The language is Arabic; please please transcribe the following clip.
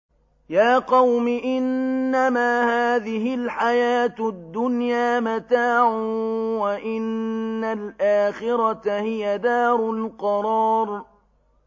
يَا قَوْمِ إِنَّمَا هَٰذِهِ الْحَيَاةُ الدُّنْيَا مَتَاعٌ وَإِنَّ الْآخِرَةَ هِيَ دَارُ الْقَرَارِ